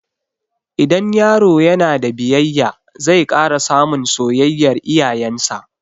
Idan yaro ya na da biyayya, zai ƙara samun soyayyar iyayen sa